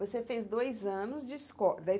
Você fez dois anos de esco da